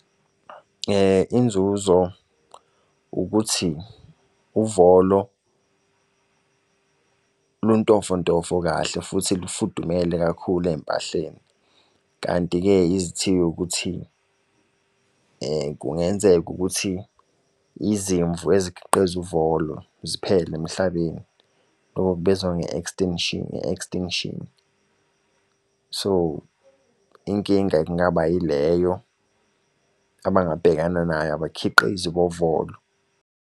Inzuzo ukuthi uvolo luntofontofo kahle, futhi olufudumele kakhulu eyimpahleni. Kanti-ke izithiyo ukuthi kungenzeka ukuthi izimvu ezikhiqiza uvolo ziphele emhlabeni. Lokho kubizwa nge-extinction, nge-extinction. So, inkinga kungaba yileyo abangabhekana nayo abakhiqizi bovolo.